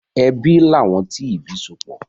Ẹbí làwọn tí ìbí sopọ̀.